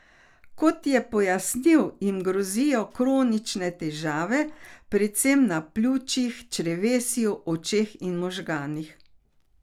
Kot je pojasnil, jim grozijo kronične težave, predvsem na pljučih, črevesju, očeh in možganih.